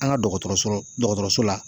An ŋa dɔgɔtɔrɔsolo dɔgɔtɔrɔso la